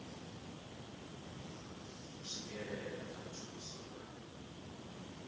u swikelela kha thuso na